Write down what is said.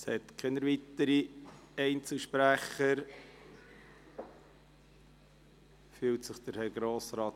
Es gibt keine weiteren Einzelsprecher, aber Grossrat